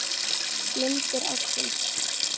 Myndir ársins